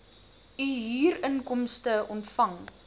u huurinkomste ontvang